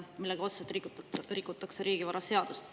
Sellega rikutakse otseselt riigivaraseadust.